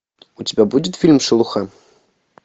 у тебя будет фильм шелуха